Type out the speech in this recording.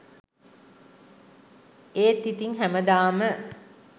ඒත් ඉතිං හැමදාම